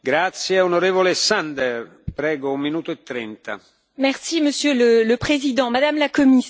Monsieur le Président, Madame la Commissaire, le cancer ne s'arrête pas aux portes de l'entreprise.